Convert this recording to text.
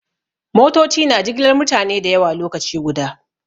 Motoci na jigilar mutane da yawa lokaci guda.